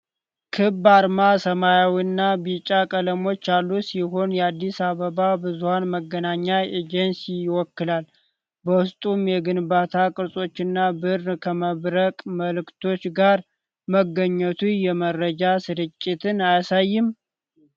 ክብ አርማ ሰማያዊና ቢጫ ቀለሞች ያሉት ሲሆን የአዲስ አበባ ብዙኃን መገናኛ ኤጀንሲን ይወክላል፤ በውስጡም የግንባታ ቅርጾችና ብዕር ከመብረቅ ምልክቶች ጋር መገኘቱ የመረጃ ስርጭትን አያሳይም?